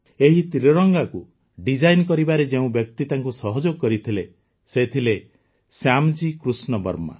ଏହି ତ୍ରିରଙ୍ଗାକୁ ଡିଜାଇନ୍ କରିବାରେ ଯେଉଁ ବ୍ୟକ୍ତି ତାଙ୍କୁ ସହଯୋଗ କରିଥିଲେ ସେ ଥିଲେ ଶ୍ୟାମଜୀ କୃଷ୍ଣ ବର୍ମା